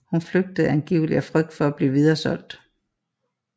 Hun flygtede angiveligt af frygt for at blive videresolgt